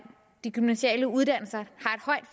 gymnasiale uddannelser